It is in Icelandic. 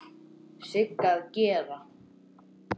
Sigga að gera?